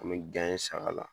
An mi saga la